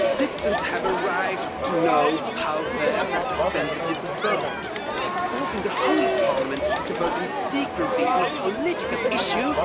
citizens have a right to know how their representatives vote. Forcing the whole of Parliament to vote in secrecy on a political issue